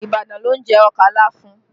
Ibadan ló ń jẹ ọkà láfún